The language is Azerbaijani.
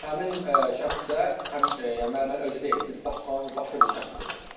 Həmin şəxs isə həm müəllimənin özü deyildi, bir başqa, tamamilə başqa bir şəxs idi.